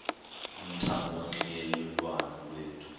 umthamo wonxielelwano lwethu